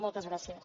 moltes gràcies